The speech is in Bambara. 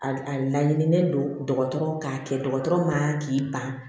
A a laɲinilen don dɔgɔtɔrɔ k'a kɛ dɔgɔtɔrɔ man k'i ban